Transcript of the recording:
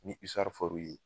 Ni for'u ye